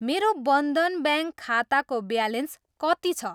मेरो बन्धन ब्याङ्क खाताको ब्यालेन्स कति छ?